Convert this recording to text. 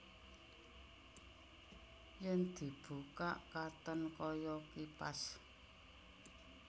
Yèn dibukak katon kaya kipas